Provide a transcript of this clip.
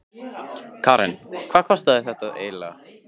Karen: Og hvað kostaði þetta eiginlega?